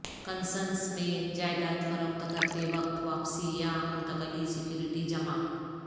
consensus میں جائیداد فروخت کرتے وقت واپسی یا منتقلی سیکورٹی جمع